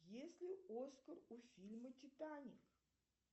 есть ли оскар у фильма титаник